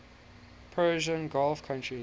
persian gulf countries